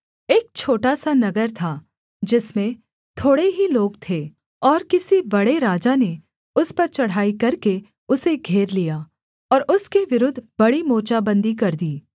एक छोटा सा नगर था जिसमें थोड़े ही लोग थे और किसी बड़े राजा ने उस पर चढ़ाई करके उसे घेर लिया और उसके विरुद्ध बड़ी मोर्चाबन्दी कर दी